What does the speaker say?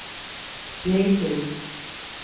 Slitu